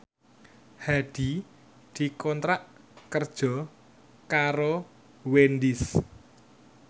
Hadi dikontrak kerja karo Wendys